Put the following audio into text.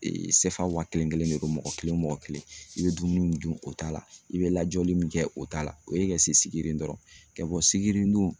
CFA waa kelen kelen be komi mɔgɔ kelen o mɔgɔ kelen i be dumuni min dun o t'a la i bɛ lajɔli min kɛ o t'a la o ye ka se Sigiri dɔrɔn ka bɔ sigini dun